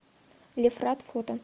лефрат фото